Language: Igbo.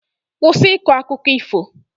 Kwụsị ịkọ akụkọ ifo!